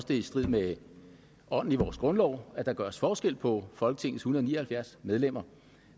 det er i strid med ånden i vores grundlov at der gøres forskel på folketingets en hundrede og ni og halvfjerds medlemmer